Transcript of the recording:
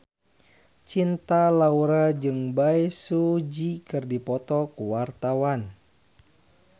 Cinta Laura jeung Bae Su Ji keur dipoto ku wartawan